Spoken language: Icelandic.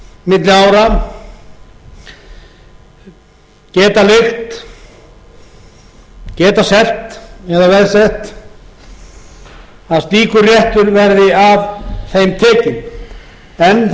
á milli ára geta leigt geta selt eða veðsett að slíkur réttur verði af þeim tekinn en það verði